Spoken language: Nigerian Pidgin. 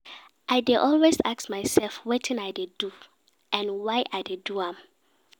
I dey always ask mysef wetin I dey do and why I dey do am.